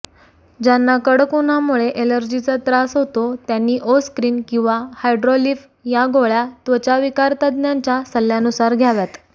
ज्यांना कडक उन्हामुळे ऍलर्जीचा त्रास होतो त्यांनी ओस्क्रीन किंवा हायड्रॉलीफ या गोळय़ा त्वचाविकारतज्ञांच्या सल्ल्यानुसार घ्याव्यात